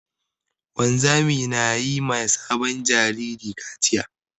Wanzami na yi ma sabon jariri kaciya.